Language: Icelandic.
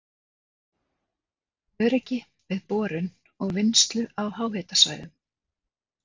Öryggi við borun og vinnslu á háhitasvæðum